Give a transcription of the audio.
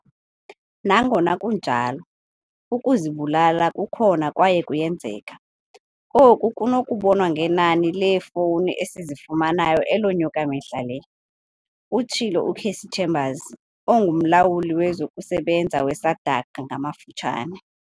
Nangona kunjalo, ukuzibulala kukhona kwaye kuyenzeka, oku kunokubonwa ngenani leefowuni esizifumanayo elonyuka mihla le, utshilo u-Cassey Chambers, onguMlawuli wezokuSebenza we-SADAG ngamafutshane.